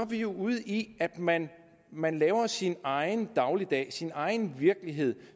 vi jo ude i at man man laver sin egen dagligdag sin egen virkelighed